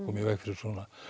koma í veg fyrir svona